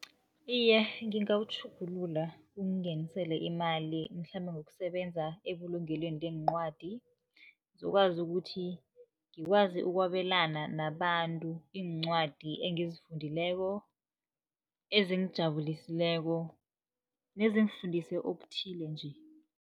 Iye, ngingawutjhugulula ungingenisele imali mhlambe ngokusebenza ebulungelweni leencwadi. Ngizokwazi ukuthi ngikwazi ukwabelana nabantu iincwadi engizifundileko, ezingijabulisileko nezingifundise okuthile nje.